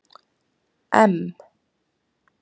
M